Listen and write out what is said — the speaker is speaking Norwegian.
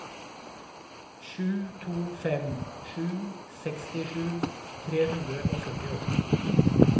sju to fem sju sekstisju tre hundre og førtiåtte